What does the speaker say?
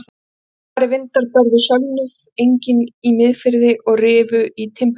Háværir vindar börðu sölnuð engin í Miðfirði og rifu í timburkirkjuna.